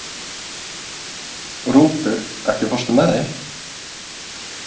Rútur, ekki fórstu með þeim?